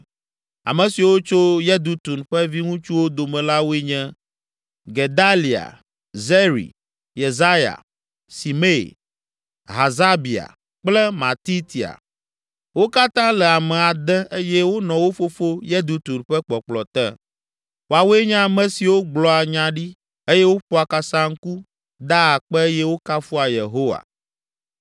Ame siwo tso Yedutun ƒe viŋutsuwo dome la woe nye: Gedalia, Zeri, Yesaya, Simei, Hasabia kple Matitia. Wo katã le ame ade eye wonɔ wo fofo, Yedutun ƒe kpɔkplɔ te. Woawoe nye ame siwo gblɔa nya ɖi eye woƒoa kasaŋku, daa akpe eye wokafua Yehowa.